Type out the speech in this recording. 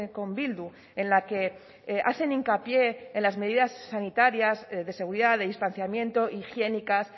con bildu en la que hacen hincapié en las medidas sanitarias de seguridad de distanciamiento higiénicas